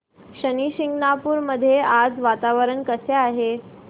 शनी शिंगणापूर मध्ये आज वातावरण कसे आहे